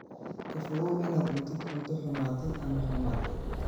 Ka fogow inaad cuntid cunto xumaatay ama xumaatay.